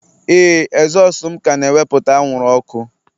Ee, ezosu m ka na-ewepụta anwụrụ ọkụ